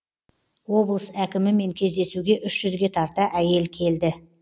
облыс әкімімен кездесуге үш жүзге тарта әйел келді